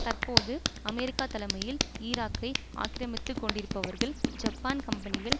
தற்போது அமெரிக்கா தலைமையில் ஈராக்கை ஆக்கிரமித்து கொண்டிருப்பவர்கள் ஜப்பான் கம்பெனிகள்